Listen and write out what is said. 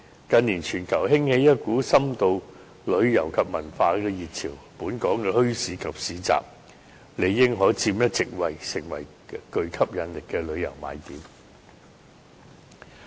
近年全球興起一股深度旅遊及文化遊的熱潮，本港的墟市及市集理應可佔一席位，成為別具吸引力的旅遊賣點。